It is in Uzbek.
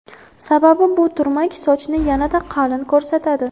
Sababi bu turmak sochni yanada qalin ko‘rsatadi.